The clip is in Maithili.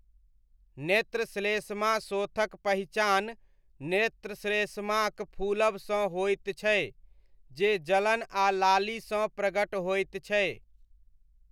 नेत्रश्लेष्माशोथक पहिचान नेत्रश्लेष्माक फूलबसँ होइत छै, जे जलन आ लालीसँ प्रगट होइत छै।